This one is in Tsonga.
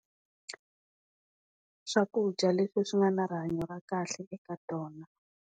Swakudya leswi swi nga ni rihanyo ra kahle eka tona.